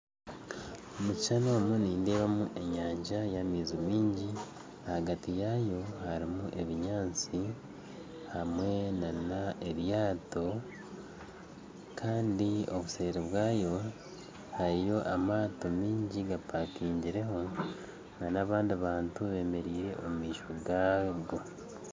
Omu kishuushani omu nindeebamu enyanja y'amaizi maingi ahagati yaayo harimu ebinyaatsi hamwe n'eryaato kandi obuseeri bwaayo hariyo amaato maingi gampakingireho n'abandi bantu bemereire omumaisho gaago